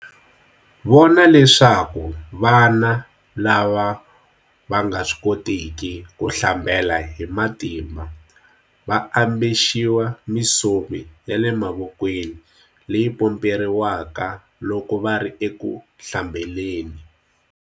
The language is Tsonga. Vona leswaku vana lava va nga swi kotiki ku hlambela hi matimba va ambexiwa misomi ya le vokweni leyi pomperiwaka loko va ri eku hlambeleni.